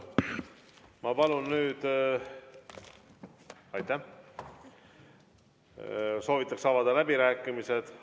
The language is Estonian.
Soovitakse avada läbirääkimised.